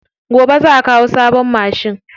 Gobe za'a kawo sabon mashin.